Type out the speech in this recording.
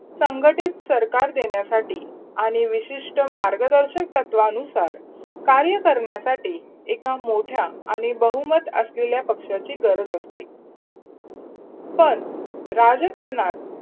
संघटीत सरकार देण्यासाठी आणि विशिष्ट मार्गदर्शन तत्वानुसार कार्य करण्यासाठी एका मोठ्या आणि बहुमत असलेल्या पक्षाची गरज असते पण राजकरणात